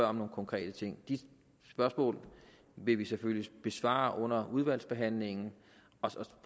om nogle konkrete ting de spørgsmål vil vi selvfølgelig besvare under udvalgsbehandlingen og så